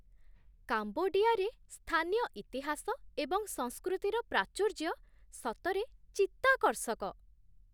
କାମ୍ବୋଡିଆରେ ସ୍ଥାନୀୟ ଇତିହାସ ଏବଂ ସଂସ୍କୃତିର ପ୍ରାଚୁର୍ଯ୍ୟ ସତରେ ଚିତ୍ତାକର୍ଷକ!